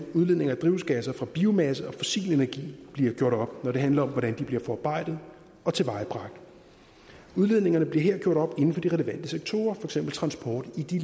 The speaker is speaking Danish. udledninger af drivhusgasser fra biomasse og fossil energi bliver gjort op når det handler om hvordan de bliver forarbejdet og tilvejebragt udledningerne bliver her gjort op inden for de relevante sektorer for eksempel transport i de